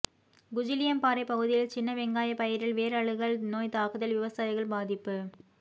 குஜிலியம்பாறை பகுதியில் சின்ன வெங்காய பயிரில் வேர் அழுகல் நோய் தாக்குதல் விவசாயிகள் பாதிப்பு